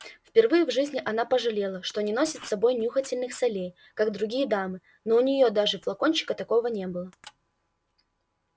впервые в жизни она пожалела что не носит с собой нюхательных солей как другие дамы но у нее даже флакончика такого не было